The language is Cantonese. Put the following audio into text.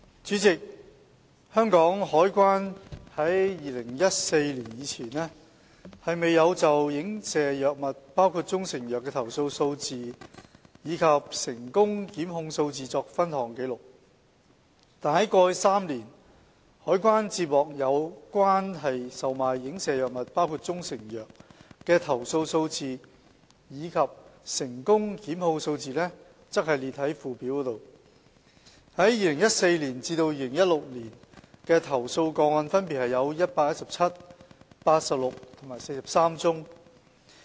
主席，香港海關在2014年以前，未有就影射藥物的投訴數字及成功檢控數字作分項記錄。過去3年，海關接獲有關售賣影射藥物的投訴數字及成功檢控數字列於附表。2014年至2016年的投訴個案分別有117宗、86宗和43宗。